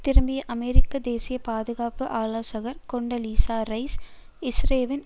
திரும்பிய அமெரிக்க தேசிய பாதுகாப்பு ஆலோசகர் கொன்டலீசா ரைஸ் இஸ்ரேலின்